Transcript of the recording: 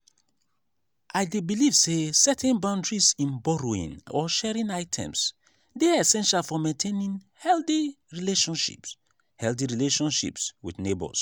i dey believe say setting boundaries in borrowing or sharing items dey essential for maintaining healthy relationships healthy relationships with neighbors.